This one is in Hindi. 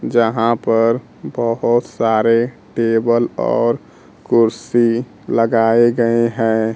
जहां पर बहोत सारे टेबल और कुर्सी लगाए गए हैं।